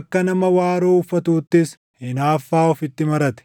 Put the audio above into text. akka nama waaroo uffatuuttis hinaaffaa ofitti marate.